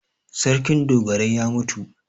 Sarkin dogarai ya mutu.